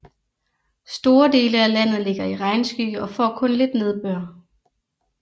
Store dele af landet ligger i regnskygge og får kun lidt nedbør